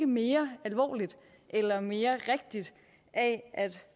mere alvorligt eller mere rigtigt af at